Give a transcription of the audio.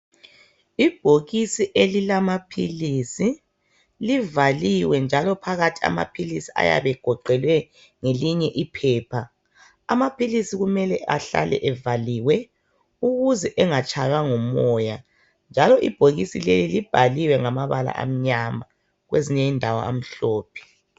Ibhokisi elilamaphilisi livaliwe njalo phakathi amaphilisi ayabe egoqelwe ngelinye iphepha. Amaphilisi kumele ahlale evaliwe ukuze engatshaywa ngumoya njalo ibhokisi leli libhaliwe ngamabala amnyama kwezinye indawo amhlophe.